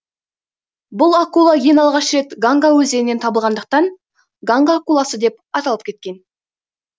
бұл акула ең алғаш рет ганга өзенінен табылғандықтан ганга акуласы деп аталып кеткен